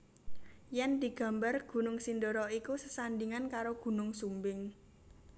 Yen digambar Gunung Sindoro iku sesandingan karo Gunung Sumbing